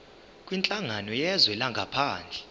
kwinhlangano yezwe langaphandle